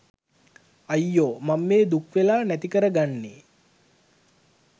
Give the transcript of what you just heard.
අයියෝ මං මේ දුක්වෙලා නැති කරගන්නෙ